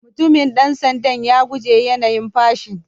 Mutumin dan sanda'n ya guje yanayin fashin.